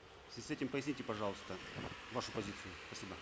в связи с этим поясните пожалуйста вашу позицию спасибо